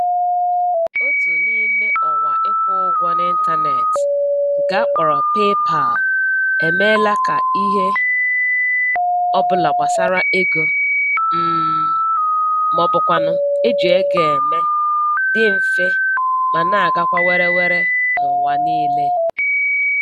Otu n'ime ọwa ịkwụ ụgwọ n'ịntaneetị nke a kpọrọ PayPal emeela ka ihe ọbụla gbasara ego um maọbụkwanụ eji ego eme dị mfe ma na-agakwa were were n'ụwa niile